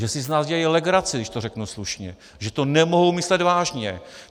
Že si z nás dělají legraci, když to řeknu slušně, že to nemohou myslet vážně.